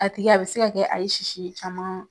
A tigi a be se ka kɛ a ye sisi caman